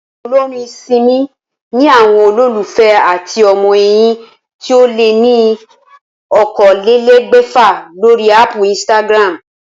Olórin Simi ni àwo̩n olólùfé àti o̩mo̩ è̩yìn tí ó lé ní okòólélé̩gbè̩fà lórí áàpù Instagram